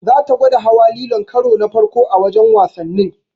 Zata gwada hawa lilon karo na farko a wajen wasannin.